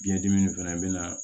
Biɲɛ dimi in fɛnɛ bɛ na